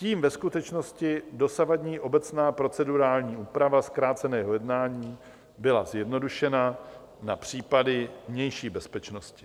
Tím ve skutečnosti dosavadní obecná procedurální úprava zkráceného jednání byla zjednodušena na případy vnější bezpečnosti.